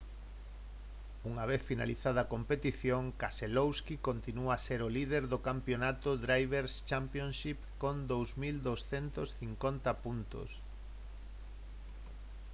unha vez finalizada a competición keselowski continúa a ser o líder do campionato drivers' championship con 2250 puntos